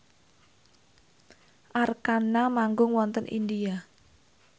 Arkarna manggung wonten India